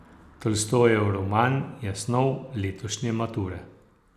Tolstojev roman je snov letošnje mature.